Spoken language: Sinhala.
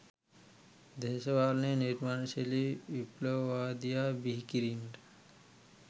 දේශපාලනයේ නිර්මාණශීලී විප්ලවවාදියා බිහිකිරීමට